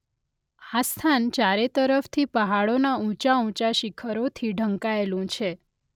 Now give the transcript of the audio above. આ સ્થાન ચારે તરફથી પહાડોનાં ઊંચા-ઊંચા શિખરોથી ઢંકાયેલું છે.